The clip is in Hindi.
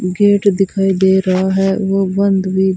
गेट दिखाई दे रहा है वो बंद भी--